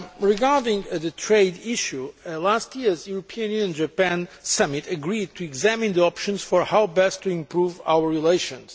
Regarding the trade issue, last year's European Union Japan Summit agreed to examine the options for how to best to improve our relations.